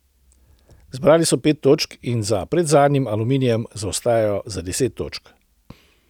Zbrali so pet točk in za predzadnjim Aluminijem zaostajajo za deset točk.